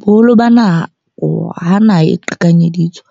Boholo ba nako ha naha e qhekanyeditswe.